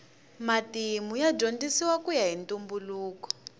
matimu ya dyondzisiwa kuya hi ntumbuluko